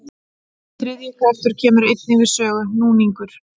Þriðji kraftur kemur einnig við sögu, núningur.